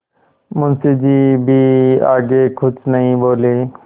मुंशी जी भी आगे कुछ नहीं बोले